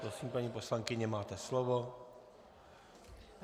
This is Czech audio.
Prosím, paní poslankyně, máte slovo.